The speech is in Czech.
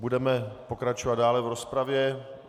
Budeme pokračovat dále v rozpravě.